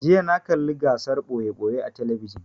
Jiya na kalla gasar ɓoye-ɓoye a talabijin